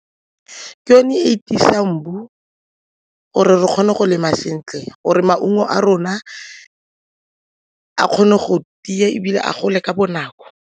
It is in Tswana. Ke yone e e tiisang gore re kgone go lema sentle gore maungo a rona a kgone go tia ebile a gole ka bonako.